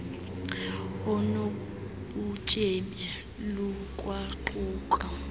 onu butyebi lukwaquka